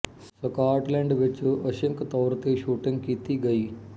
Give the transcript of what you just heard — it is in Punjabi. ਸਕਾਟਲੈਂਡ ਵਿੱਚ ਅੰਸ਼ਿਕ ਤੌਰ ਤੇ ਸ਼ੂਟਿੰਗ ਕੀਤੀ ਗਈ